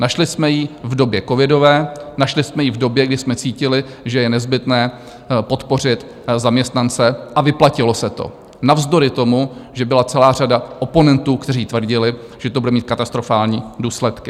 Našli jsme ji v době covidové, našli jsme ji v době, kdy jsme cítili, že je nezbytné podpořit zaměstnance, a vyplatilo se to navzdory tomu, že byla celá řada oponentů, kteří tvrdili, že to bude mít katastrofální důsledky.